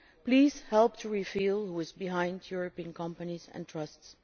So please help to reveal who is behind European companies and trusts.